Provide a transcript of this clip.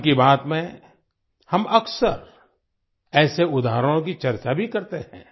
मन की बात में हम अक्सर ऐसे उदाहरणों की चर्चा भी करते हैं